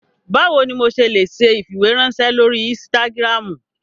Bawo ni mo ṣe le ṣe ifiweranṣẹ lori ínsìtágirámu?